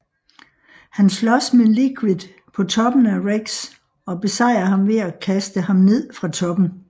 Han slås med Liquid på toppen af REX og besejrer ham ved at kaste ham ned fra toppen